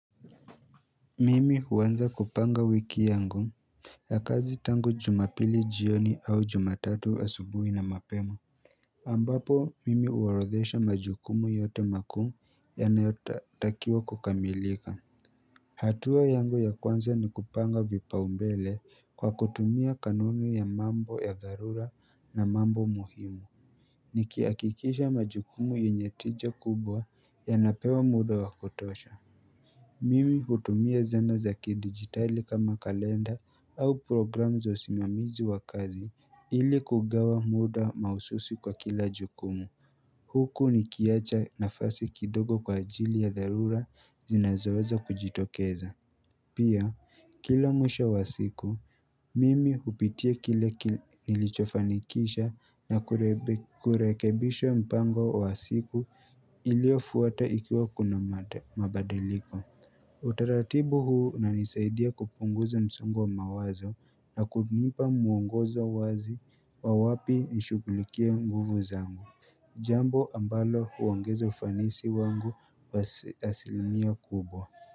Mimi huanza kupanga wiki yangu ya kazi tangu jumapili jioni au jumatatu wa asubuhi na mapema ambapo mimi uorodhesha majukumu yote makuu yanayotakiwa kukamilika hatua yangu ya kwanza ni kupanga vipaombele kwa kutumia kanuni ya mambo ya dharura na mambo muhimu Nikihakikisha majukumu yenye tija kubwa ya napewa muda wakutosha Mimi hutumia zana za kidigitali kama kalenda au programu za usimamizi wa kazi ili kugawa muda mahususi kwa kila jukumu. Huku ni kiacha na fasi kidogo kwa ajili ya dharura zinazoweza kujitokeza. Pia kila mwisho wa siku, mimi hupitia kile nilichofanikisha na kurekebisha mpango wa siku iliyofuata ikiwa kuna mabadiliko. Utaratibu huu unanisaidia kupunguza msongo wa mawazo na kunipa muongozo wazi wa wapi nishughulikia nguvu zangu Jambo ambalo huongeza ufanisi wangu asilimia kubwa.